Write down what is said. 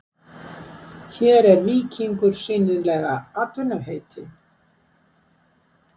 Hér er víkingur sýnilega atvinnuheiti.